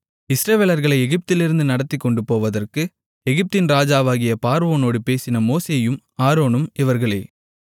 இஸ்ரவேலர்களை எகிப்திலிருந்து நடத்திக்கொண்டு போவதற்கு எகிப்தின் ராஜாவாகிய பார்வோனோடு பேசின மோசேயும் ஆரோனும் இவர்களே